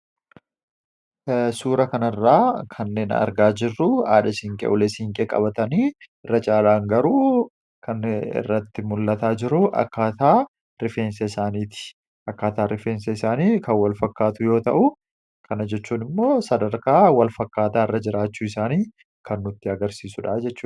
Suuraa kanarraa kanneen argaa jirru haadha siinqee ulee siinqee qabatanii irra caalaan garuu kan mul'ataa jiru akkaataa rifeensa isaaniiti. Akkaataan rifeensa isaanii kan walfakkaatu yoo ta'u, kana jechuun immoo sadarkaa walfakkaataarra jiraachuu isaanii kan nutti agarsiisudha jechuudha.